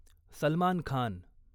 Salman Khan